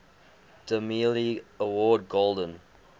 demille award golden